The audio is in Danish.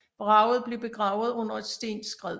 Vraget blev begravet under et stenskred